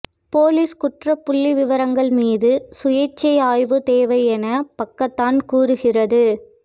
police குற்றப் புள்ளிவிவரங்கள் மீது சுயேச்சை ஆய்வு தேவை என பக்கத்தான் கூறுகிறது